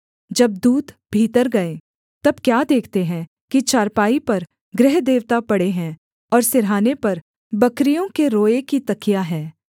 जब दूत भीतर गए तब क्या देखते हैं कि चारपाई पर गृहदेवता पड़े हैं और सिरहाने पर बकरियों के रोए की तकिया है